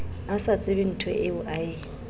a sa tsebenthoeo a e